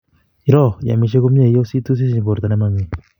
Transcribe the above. Iroo iamishe komnye iositu sisiny borto nemamini